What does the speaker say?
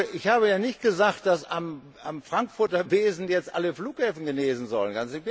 Ich habe ja nicht gesagt, dass am Frankfurter Besen jetzt alle Flughäfen genesen sollen.